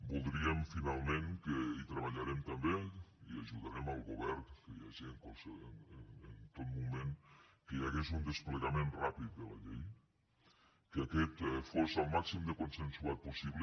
voldríem finalment i hi treballarem també i ajudarem el govern en tot moment que hi hagués un desplegament ràpid de la llei que aquest fos el màxim de consensuat possible